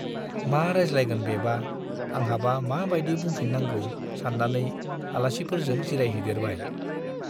मा रायज्लायगोन बेबा, आंहाबा मा बाइदि बुंफिन्नांगौ-सान्नानै आलासिफोरजों जिरायहैदेरबाय।